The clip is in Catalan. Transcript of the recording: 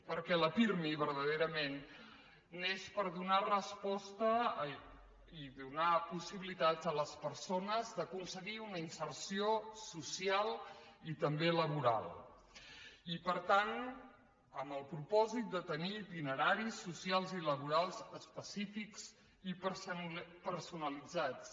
perquè el pirmi vertaderament neix per donar resposta i donar possibilitat a les persones d’aconseguir una inserció social i també laboral i per tant amb el propòsit de tenir itineraris socials i laborals específics i personalitzats